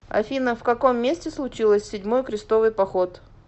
афина в каком месте случилось седьмой крестовый поход